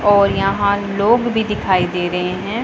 और यहां लोग भी दिखाई दे रहे हैं।